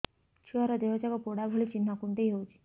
ଛୁଆର ଦିହ ଯାକ ପୋଡା ଭଳି ଚି଼ହ୍ନ କୁଣ୍ଡେଇ ହଉଛି